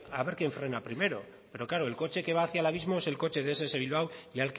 frena primero pero claro el coche que va hacia el abismo es el coche de ess bilbao y